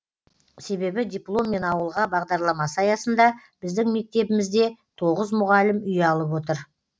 себебі дипломмен ауылға бағдарламасы аясында біздің мектебімізде тоғыз мұғалім үй алып отыр